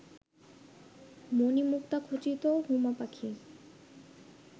মণিমুক্তাখচিত হুমা পাখি